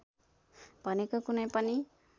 भनेको कुनै पनि